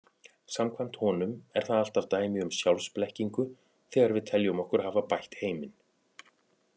Samkvæmt honum er það alltaf dæmi um sjálfsblekkingu þegar við teljum okkur hafa bætt heiminn.